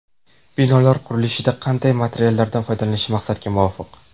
Binolar qurilishida qanday materiallardan foydalanish maqsadga muvofiq?